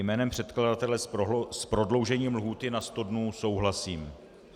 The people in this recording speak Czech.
Jménem předkladatele s prodloužením lhůty na sto dnů souhlasím.